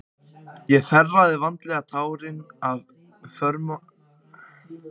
Ég þerraði vandlega tárin af hvörmum mér og hugleiddi óyfirstíganlegan vandann sem rændi mig máli.